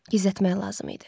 Gizlətmək lazım idi.